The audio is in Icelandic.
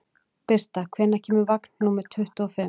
Birta, hvenær kemur vagn númer tuttugu og fimm?